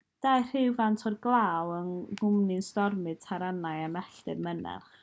daeth rhywfaint o'r glaw yng nghwmni stormydd taranau a mellt mynych